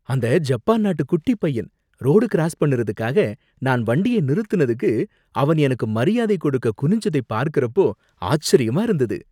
அந்த ஜப்பான் நாட்டு குட்டிப் பையன் ரோடு கிராஸ் பண்ணுறதுக்காக நான் வண்டியை நிறுத்தினதுக்கு அவன் எனக்கு மரியாதை கொடுக்க குனிஞ்சதை பார்க்கறப்போ ஆச்சரியமா இருந்தது